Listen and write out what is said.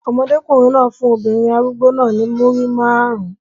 Ọmọdékùnrin náà fún obìnrin arúgbó náà ní Múrí márùn-ún.